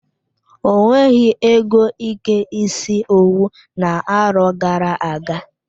O nweghị ego ike isi owu na-arọ gara-aga.